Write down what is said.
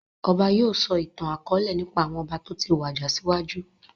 Ọba yìí ó sọ ìtàn akọ̀ọ̀lẹ nípa àwọn ọba toti wàjà síwájú